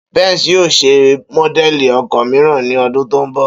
Benz yóò ṣe módẹ̀lì ọkọ̀ mìíràn ní ọdún tó ń bọ̀